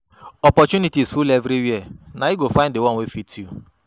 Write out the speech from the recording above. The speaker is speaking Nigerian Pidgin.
Opportunities full everywhere, na you go find di one wey fit you.